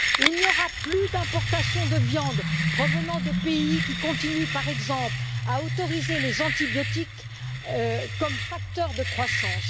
Il n'y aura plus d'importations de viande provenant de pays qui continuent, par exemple, à autoriser les antibiotiques comme facteurs de croissance.